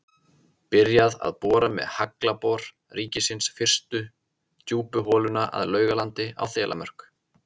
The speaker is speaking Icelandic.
Byrjað að bora með Haglabor ríkisins fyrstu djúpu holuna að Laugalandi á Þelamörk.